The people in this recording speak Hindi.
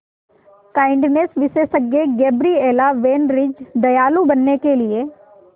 काइंडनेस विशेषज्ञ गैब्रिएला वैन रिज दयालु बनने के लिए